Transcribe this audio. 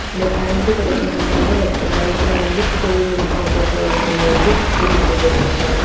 அந்த ஃபேன்ஸி கடைக்கு முன்னால ஒருத்தர் பைக்ல வந்து ஸ்கூல் யூனிஃபார்ம் போட்ட ஒரு பொன்ன வந்து கூட்டிட்டு போயிட்டுருக்காங்க.